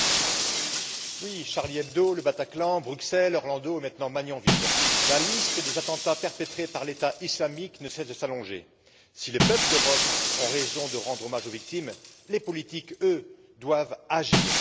Madame la Présidente, avec Charlie Hebdo, Le Bataclan, Bruxelles, Orlando et maintenant Magnanville, la liste des attentats perpétrés par l'État islamique ne cesse de s'allonger. Si les peuples d'Europe ont raison de rendre hommage aux victimes, les politiques, eux, doivent agir.